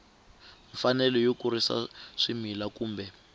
mfanelo yo kurisa swimila kumbe